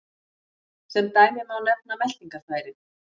Sem dæmi má nefna meltingarfærin.